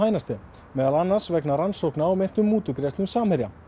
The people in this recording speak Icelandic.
meðal annars vegna rannsóknar á meintum mútugreiðslum Samherja